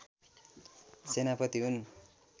सेनापति हुन्